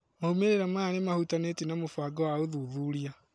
moimĩrĩra maya nĩmahũtanĩtie na mũbango wa ũthuthuria